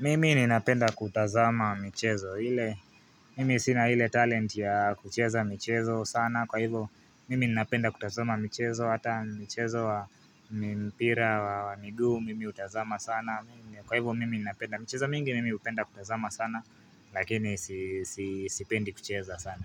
Mimi ninapenda kutazama michezo. Mimi sina ile talent ya kucheza michezo sana. Kwa hivo, mimi ninapenda kutazama michezo. Hata michezo wa mpira wa miguu, mimi hutazama sana. Kwa hivo, mimi ninapenda michezo mingi, mimi hupenda kutazama sana, lakini sipendi kucheza sana.